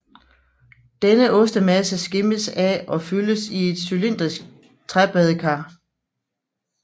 Denne ostemasse skimmes af og fyldes i et cylindrisk træbadekar